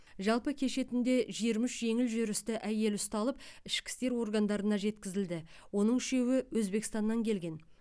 жалпы кеше түнде жиырма үш жеңіл жүрісті әйел ұсталып ішкі істер органдарына жеткізілді оның үшеуі өзбекстаннан келген